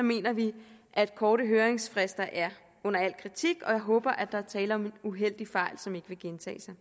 mener vi at korte høringsfrister er under al kritik og jeg håber at der er tale om en uheldig fejl som ikke vil gentage sig